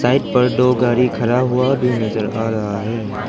Side पर दो गाड़ी खरा हुआ भी नजर आ रहा है।